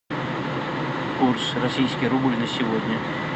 курс российский рубль на сегодня